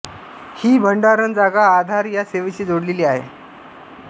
ही भंडारण जागा आधार या सेवेशी जोडलेली आहे